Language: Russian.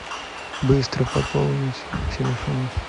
быстро пополнить телефон